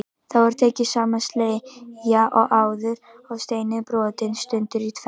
Þá er tekin sama sleggja og áður og steinninn brotinn sundur í tvennt.